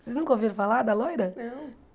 Vocês nunca ouviram falar da Loira? Não